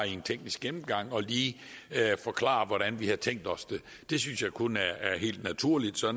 en teknisk gennemgang og lige forklare hvordan vi har tænkt os det det synes jeg kun er helt naturligt så